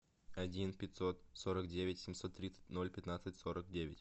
один пятьсот сорок девять семьсот тридцать ноль пятнадцать сорок девять